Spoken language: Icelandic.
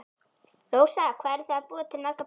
Rósa: Hvað eruð þið að búa til margar bollur?